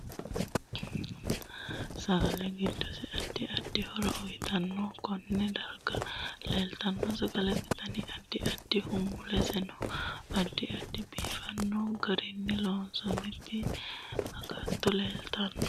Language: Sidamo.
Sagale giddose addi addi horo uyiitanno konne darga leeltano sagalete danni addi addiho muleseno addi addi biifanno garinni loosantinno agatto leeltaanno